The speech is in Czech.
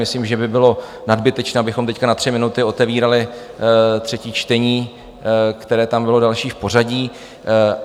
Myslím, že by bylo nadbytečné, abychom teď na tři minuty otevírali třetí čtení, které tam bylo další v pořadí.